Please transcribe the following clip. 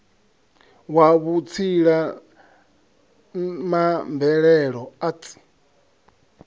wa vhutsila ma mvelelo arts